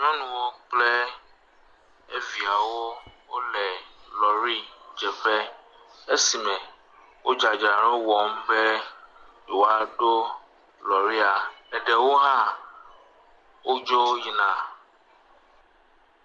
Nyɔnuwo kple eviawo wole lɔɖidzeƒe esi me wo dzadzra wɔm be yewoa ɖo lɔɖia eɖewo hã wodzo yina.